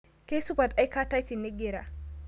Keisupat aikatai tinigira